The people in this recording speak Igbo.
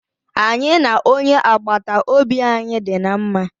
Anyị na onye agbata obi anyị dị na mma.